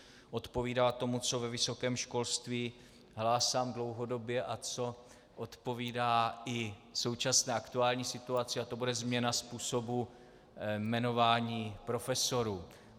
Odpovídá tomu, co ve vysokém školství hlásám dlouhodobě a co odpovídá i současné aktuální situaci, a to bude změna způsobu jmenování profesorů.